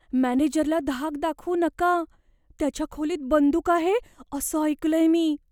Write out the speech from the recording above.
मॅनेजरला धाक दाखवू नका. त्याच्या खोलीत बंदूक आहे असं ऐकलंय मी.